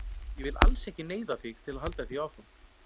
Og ég vil alls ekki neyða þig til að halda því áfram.